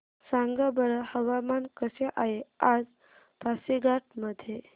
सांगा बरं हवामान कसे आहे आज पासीघाट मध्ये